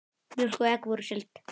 Mjólk og egg voru seld.